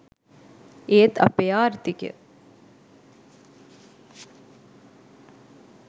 ඒත් අපේ ආර්ථිකය